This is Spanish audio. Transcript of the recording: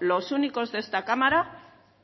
los únicos de esta cámara